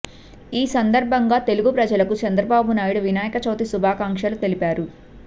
ఈ సందర్భంగా తెలుగు ప్రజలకు చంద్రబాబు నాయుడు వినాయక చవితి శుభాకాంక్షలు తెలిపారు